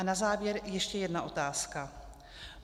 A na závěr ještě jedna otázka.